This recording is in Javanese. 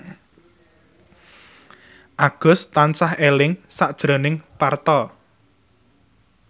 Agus tansah eling sakjroning Parto